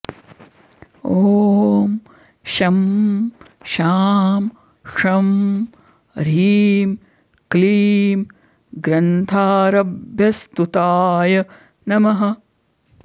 ॐ शं शां षं ह्रीं क्लीं ग्रन्थारम्भस्तुताय नमः